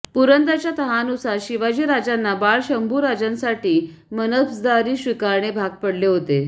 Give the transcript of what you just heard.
पुरंदरच्या तहानुसार शिवाजीराजांना बाळ शंभू राजांसाठी मनसबदारी स्विकारणे भाग पडले होते